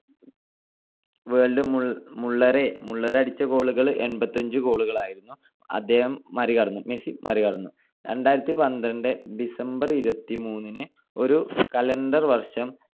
Gerd മുള്ളറെ ~ Muller അടിച്ച goal കൾ എൺപത്തിയഞ്ച് goal കളായിരുന്നു. അദ്ദേഹം മറികടന്നു, മെസ്സി മറികടന്നു. രണ്ടായിരത്തിപന്ത്രണ്ട് December ഇരുപത്തിമൂന്നിന് ഒരു calendar വർഷം